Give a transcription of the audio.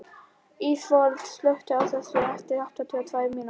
Ísafold, slökktu á þessu eftir áttatíu og tvær mínútur.